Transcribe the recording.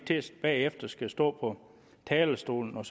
bagefter skal stå på talerstolen og